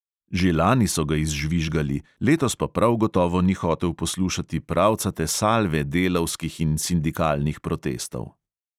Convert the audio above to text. Že lani so ga izžvižgali, letos pa prav gotovo ni hotel poslušati pravcate salve delavskih in sindikalnih protestov.